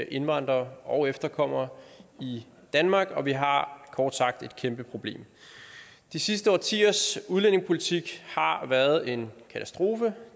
indvandrere og deres efterkommere i danmark og vi har kort sagt et kæmpe problem de sidste årtiers udlændingepolitik har været en katastrofe